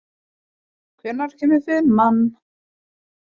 Hilma, hvenær kemur fimman?